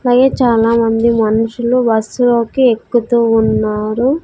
పై చాలామంది మనుషులు బస్సులోకి ఎక్కుతూ ఉన్నారు.